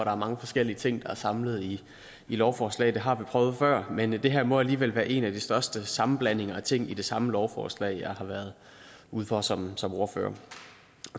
er mange forskellige ting der er samlet i et lovforslag det har vi prøvet før men det her må alligevel være en af de største sammenblandinger af ting i det samme lovforslag som jeg har været ude for som som ordfører